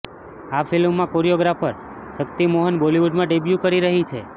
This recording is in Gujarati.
આ ફિલ્મથી કોરિયોગ્રાફર શકિત મોહન બોલિવુડમાં ડેબ્યૂ કરી રહી છે